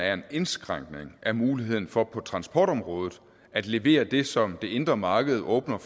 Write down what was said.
er en indskrænkning af muligheden for på transportområdet at levere det som det indre marked åbner